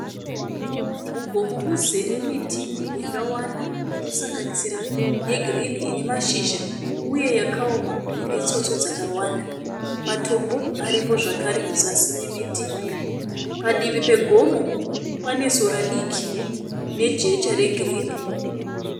Mugomo muzere miti yakawanda inosanganisira yegirini inemashizha uye yakaoma inetsotso dzakawanda. Matombo aripo zvakare muzasi memiti. Padivi pegomo panesora diki nejecha regirini.